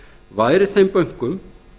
væri þeim bönkum